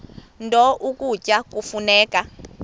nto ukutya kufuneka